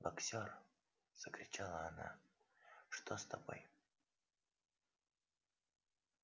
боксёр закричала она что с тобой